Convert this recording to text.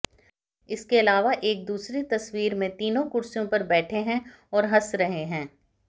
इसके अलावा एक दूसरी तस्वीर में तीनों कुर्सियों पर बैठे हैं और हंस रहे हैं